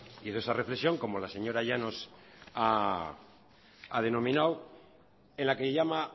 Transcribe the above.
hizo esa reflexión como la señora llanos a denominado en la que llama